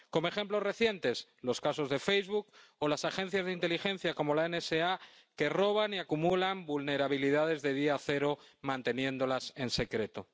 Como ejemplos recientes, están los casos de Facebook o las agencias de inteligencia, como la NSA, que roban y acumulan vulnerabilidades de día cero, manteniéndolas en secreto.